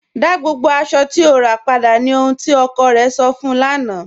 Dá gbogbo aṣọ̀ tí o rà padà, ní ọhun tí ọkọ̀ rẹ̀ sọ̀ fun ụ lána